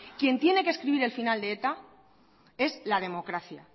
quien tiene que escribir el final de eta es la democracia